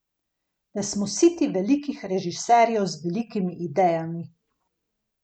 Da smo siti velikih režiserjev z velikimi idejami.